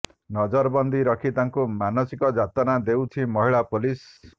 ନଜରବନ୍ଦୀ ରଖି ତାଙ୍କୁ ମାନସିକ ଯାତନା ଦେଉଛି ମହିଳା ପୁଲିସ